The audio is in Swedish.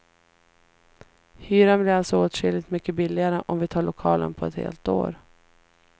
Hyran blir alltså åtskilligt mycket billigare om vi tar lokalen på ett helt år.